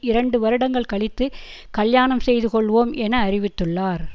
இரண்டு வருடங்கள் கழித்து கல்யாணம் செய்து கொள்வோம் என அறிவித்துள்ளார்